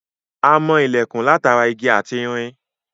A mọ ilẹ̀kùn látara igi ati irin